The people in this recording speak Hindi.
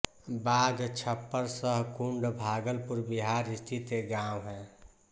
बाघछप्पर सहकुंड भागलपुर बिहार स्थित एक गाँव है